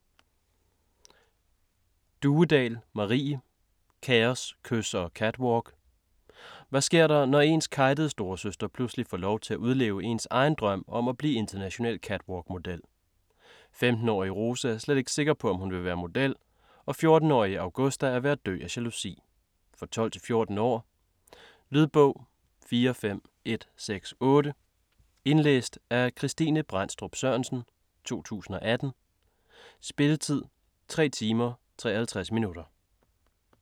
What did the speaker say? Duedahl, Marie: Kaos, kys og catwalk Hvad sker der, når ens kejtede storesøster pludselig får lov til at udleve ens egen drøm om at blive international catwalkmodel? 15-årige Rose er slet ikke sikker på om hun vil være model, og 14-årige Augusta er ved at dø af jalousi. For 12-14 år. Lydbog 45168 Indlæst af Kristine Brendstrup Sørensen, 2018. Spilletid: 3 timer, 53 minutter.